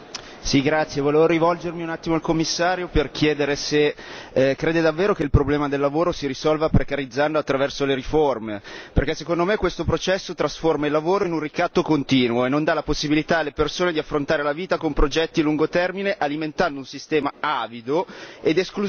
Signor Presidente, onorevoli colleghi, volevo rivolgermi un attimo al Commissario per chiedere se crede davvero che il problema del lavoro si risolva precarizzando attraverso le riforme. Perché, secondo me, questo processo trasforma il lavoro in un ricatto continuo e non dà la possibilità alle persone di affrontare la vita con progetti a lungo termine, alimentando un sistema avido ed esclusivo nella nostra società